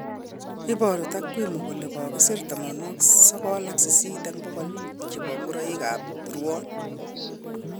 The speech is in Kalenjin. Iboru takwimu kole kokisir 98% chebo ngoroik ab ruon